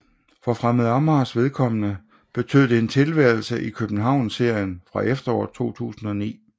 For Fremad Amagers vedkommende betød det en tilværelse i Københavnsserien fra efteråret 2009